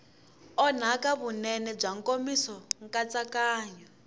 onhaka vunene bya nkomiso nkatsakanyo